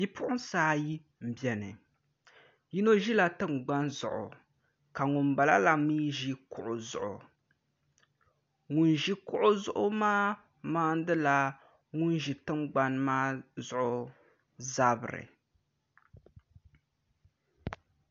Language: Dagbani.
Bipuɣunsi ayi n biɛni yino ʒila tingbani zuɣu ka ŋunbala mii ʒi kuɣu zuɣu ŋun ʒi kuɣu zuɣu maa maandila ŋun ʒi tingbani maa zuɣu zabiri